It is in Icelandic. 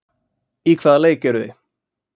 Í hvaða leik eruð þið?